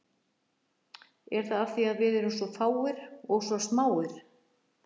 Er það af því að við erum svo fáir, og svo smáir?